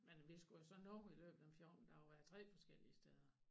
Men vi skulle jo så nå i løbet af 14 dage være 3 forskellige steder